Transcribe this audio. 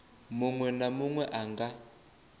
munwe na munwe a nga